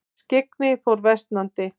Skyggni fór versnandi.